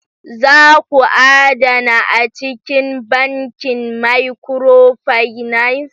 Za ku adana a cikin bankin micro finance!